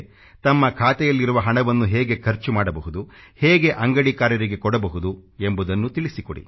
ತಮ್ಮ ಖಾತೆಯಲ್ಲಿರುವ ಹಣವನ್ನು ಹೇಗೆ ಖರ್ಚು ಮಾಡಬಹುದು ಹೇಗೆ ಅಂಗಡಿಕಾರರಿಗೆ ಕೊಡಬಹುದು ಎಂಬುದನ್ನು ತಿಳಿಸಿಕೊಡಿ